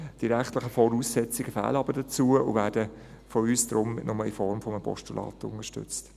Die rechtlichen Voraussetzungen fehlen aber dazu und werden von uns darum nur in Form eines Postulats unterstützt.